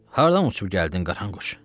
Hardan uçub gəldin qaranquş?